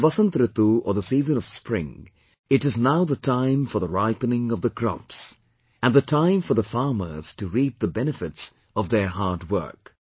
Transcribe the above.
After Vasant Ritu or the season of Spring, it is now the time for the ripening of the crops, and the time for the farmers to reap the benefits of their hard work